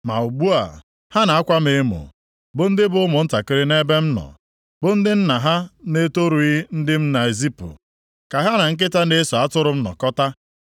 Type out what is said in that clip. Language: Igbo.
“Ma ugbu a, ha na-akwa m emo bụ ndị bụ ụmụntakịrị nʼebe m nọ, bụ ndị nna ha na-etorughị ndị m na-ezipụ ka ha na nkịta na-eso atụrụ m nọkọta.